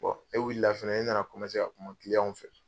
E wulila fana e nana ka kuma fɛ.